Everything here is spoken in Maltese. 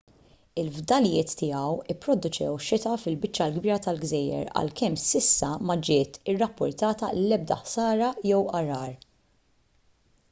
il-fdalijiet tiegħu pproduċew xita fil-biċċa l-kbira tal-gżejjer għalkemm s'issa ma ġiet irrappurtata l-ebda ħsara jew għargħar